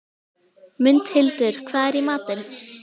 Mundhildur, hvað er í matinn?